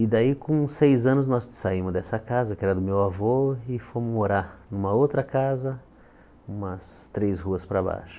E daí, com seis anos, nós saímos dessa casa, que era do meu avô, e fomos morar numa outra casa, umas três ruas para baixo.